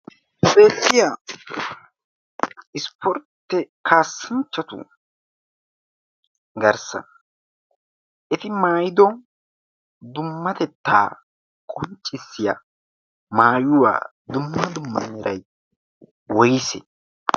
speettiya ispportti kaassinchchatu garssa eti maayido dummatettaa qunccissiya maayuwaa dumma dumma meray woysee?